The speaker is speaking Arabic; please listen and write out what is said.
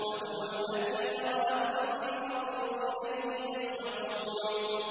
وَهُوَ الَّذِي ذَرَأَكُمْ فِي الْأَرْضِ وَإِلَيْهِ تُحْشَرُونَ